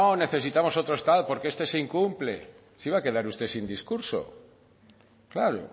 necesitamos otro estatuto porque este se incumple se iba a quedar usted sin discurso claro